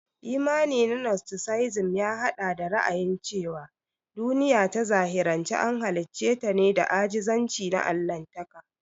Imani na nostisizim ya haɗa da ra'ayin cewa duniya ta zahiri an halicce ta da ajizanci na Allahntaka.